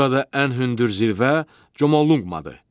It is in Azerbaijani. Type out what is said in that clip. Burada ən hündür zirvə Comoluqmadır.